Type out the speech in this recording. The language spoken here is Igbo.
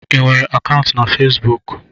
Ị nwere akaụntụ na Fesbuk?